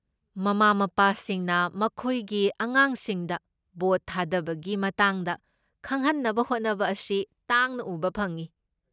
ꯃꯃꯥ ꯃꯄꯥꯁꯤꯡꯅ ꯃꯈꯣꯏꯒꯤ ꯑꯉꯥꯡꯁꯤꯡꯗ ꯚꯣꯠ ꯊꯥꯗꯕꯒꯤ ꯃꯇꯥꯡꯗ ꯈꯪꯍꯟꯅꯕ ꯍꯣꯠꯅꯕ ꯑꯁꯤ ꯇꯥꯡꯅ ꯎꯕ ꯐꯪꯢ꯫